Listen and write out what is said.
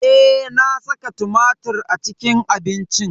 Eh, na saka tumatir a cikin abincin.